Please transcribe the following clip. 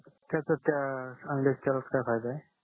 खर तर त्या अंड्याच्या तेलात काय फायदा आहे